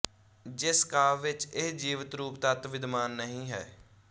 ਜਿਸ ਕਾਵਿ ਵਿੱਚ ਇਹ ਜੀਵਿਤ ਰੂੂੂਪ ਤੱਤ ਵਿਦਮਾਨ ਨਹੀਂ ਹੈ